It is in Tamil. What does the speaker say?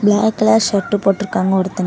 பிளாக் கலர் ஷர்ட்டு போட்டுருக்காங்க ஒருத்தவங்க.